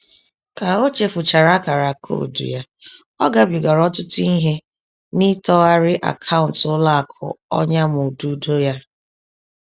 Ka o chefuchara AKARA koodu ya, ọ gabigara ọtụtụ ihe n'ịtọgharị akaụntụ ụlọakụ ọnyamụdụdọ ya